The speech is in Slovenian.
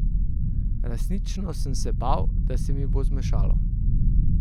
Resnično sem se bal, da se mi bo zmešalo.